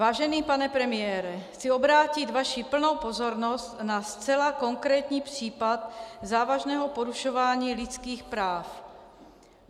Vážený pane premiére, chci obrátit vaši plnou pozornost na zcela konkrétní případ závažného porušování lidských práv.